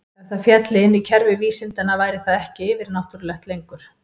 Ef það félli inn í kerfi vísindanna væri það ekki yfir-náttúrulegt lengur.